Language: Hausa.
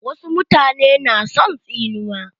Wasu mutane na son tsinuwa.